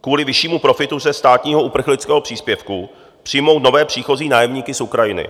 kvůli vyššímu profitu ze státního uprchlického příspěvku přijmout nové příchozí nájemníky z Ukrajiny.